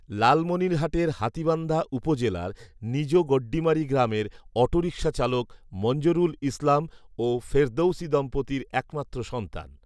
লালমনিরহাটের হাতীবান্ধা উপজেলার নিজ গড্ডিমারী গ্রামের অটোরিকসা চালক মঞ্জরুল ইসলাম ও ফেরদৗসী দম্পতির এক মাত্র সন্তান